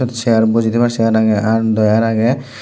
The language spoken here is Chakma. seeyar boji teybar seeyar aagey aar dawer aagey.